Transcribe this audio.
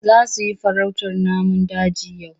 Za su yi farautar namun daji yau?